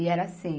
E era assim,